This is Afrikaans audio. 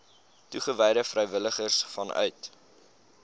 toegewyde vrywilligers vanuit